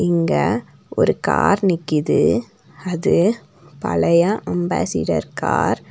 இங்க ஒரு கார் நிக்கிது அது பழைய அம்பாசிடர் கார் .